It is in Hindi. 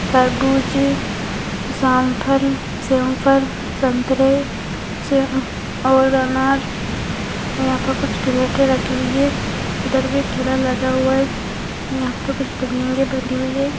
तरबूज जामफल सैंफल संतरे से और अनार यहां पे कुछ क्रिएटे रखी हुई है उधर भी ठेला लगा हुआ है यहां पे कुछ बिल्डिंगे बनी हुई है।